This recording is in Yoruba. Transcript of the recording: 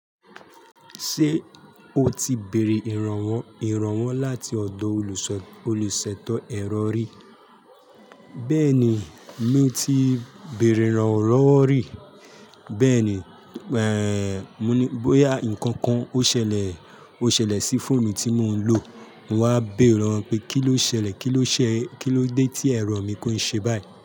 Ṣé o ti béèrè ìrànwọ́ ìrànwọ́ láti ọ̀dọ̀ olùsètọ́ ẹ̀rọ rí? Bẹ́ẹ̀ni, mo ti béèrè ìràn lowọ́ rì. Bẹ́ẹ̀ni, eh, mo ní bóyá ǹkan kan ó ṣẹlẹ̀, ó ṣẹlẹ̀ sí fóònù tí mò ń lò. Mo wá béèrè ìràn lowọ́ pé kí ló ṣẹlẹ̀, kí ló ṣe, kí ló dé tí ẹ̀rọ mi ń ṣe báyìí.